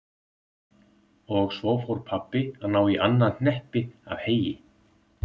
Og svo fór pabbi að ná í annað hneppi af heyi.